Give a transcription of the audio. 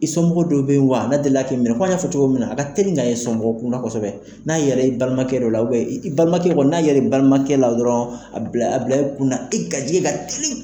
I somɔgɔ dɔw bɛ yen wa a ne delila k'i minɛ, kɔmi an y'a fɔ cogo min na, a ka teli ka ye somɔgɔ kunda kosɛbɛ n'a ye l'i la i balimakɛ dɔ la i balimakɛ dɔ n'a ye la i balimakɛ la dɔrɔnw, a bila a bila i kun na e garijɛgɛ ka teli